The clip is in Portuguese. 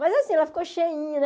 Mas assim, ela ficou cheinha, né?